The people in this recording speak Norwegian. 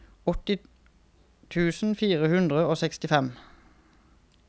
åtti tusen fire hundre og sekstifem